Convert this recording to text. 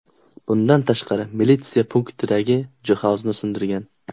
Bundan tashqari, militsiya punktidagi jihozni sindirgan.